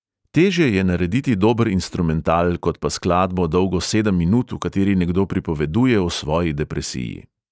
Težje je narediti dober instrumental kot pa skladbo, dolgo sedem minut, v kateri nekdo pripoveduje o svoji depresiji.